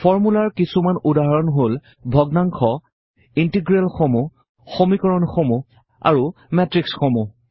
ফৰ্মূলাৰ কিছুমান উদাহৰণ হল ভগ্নাংশ ইন্টিগ্ৰেলসমূহ সমীকৰণসমূহ আৰু মেট্ৰিক্সসমূহ